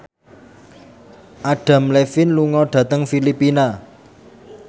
Adam Levine lunga dhateng Filipina